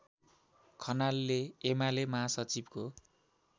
खनालले एमाले महासचिवको